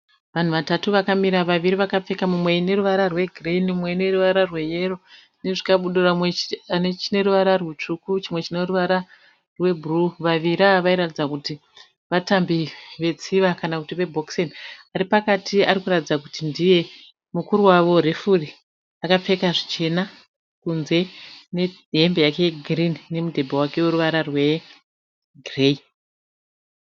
Vanhu vatatu vakamira. Vaviri vakapfeka mumwe neruvara rwegireyi mumwe neruvara rweyero nezvikabudura mumwe ane chine ruvara rutsvuku chimwe chine ruvara rwebhuruu. Vaviri ava vairatidza kuti vatambi vetsiva kana kuti vebhokiseni. Ari pakati ari kuratidza kuti ndiye mukuru wavo, refuri. Akapfeka zvichena kunze nehembe yake yegirini nemudhebhe wake weruvara rwegireyi.